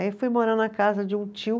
Aí eu fui morar na casa de um tio,